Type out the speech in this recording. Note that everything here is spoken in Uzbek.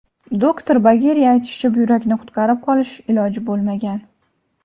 Doktor Bageriy aytishicha, buyrakni qutqarib qolish iloji bo‘lmagan.